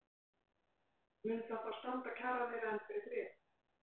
Mun það þá standa kjaraviðræðum fyrir þrifum?